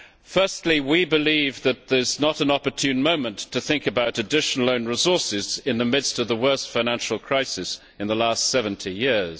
Firstly, we believe that this is not an opportune moment to think about additional own resources in the midst of the worst financial crisis in the last 70 years.